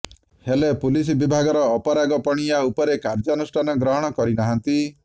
ହେଲେ ପୁଲିସ ବିଭାଗର ଅପରାଗପଣିଆ ଉପରେ କାର୍ଯ୍ୟାନୁଷ୍ଠାନ ଗ୍ରହଣ କରିନାହାନ୍ତି